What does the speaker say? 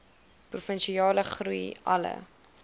provinsiale groei alle